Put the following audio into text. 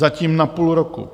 Zatím na půl roku.